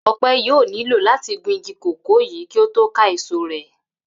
Ò̩pe̩ yóò nílò láti gun igi kòkó yìí kí ó tó lè ká èso rè̩